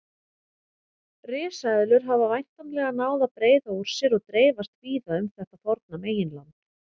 Risaeðlur hafa væntanlega náð að breiða úr sér og dreifast víða um þetta forna meginland.